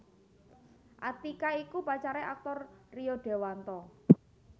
Atiqah iku pacare aktor Rio Dewanto